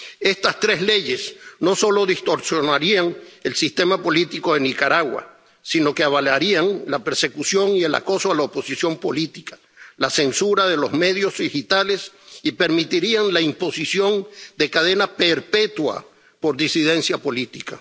Estas tres leyes no solo distorsionarían el sistema político en Nicaragua, sino que avalarían la persecución y el acoso a la oposición política y la censura de los medios digitales y permitirían la imposición de cadena perpetua por disidencia política.